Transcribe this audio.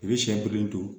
I bɛ siyɛ bilen to